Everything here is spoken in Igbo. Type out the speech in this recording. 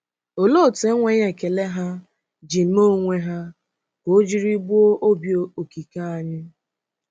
Òlee otú enweghị ekele ha ji mee onwe ha ka o jiri gbuo Obi Okike anyị!